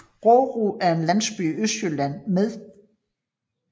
Rårup er en landsby i Østjylland med